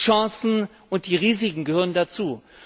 Die Chancen und die Risiken gehören dazu.